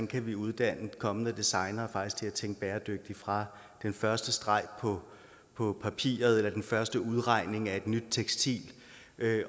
kan uddanne kommende designere til at tænke bæredygtigt fra den første streg på papiret eller den første udregning af et nyt tekstil